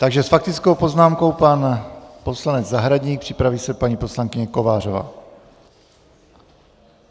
Takže s faktickou poznámkou pan poslanec Zahradník, připraví se paní poslankyně Kovářová.